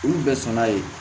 Olu bɛɛ sɔnna yen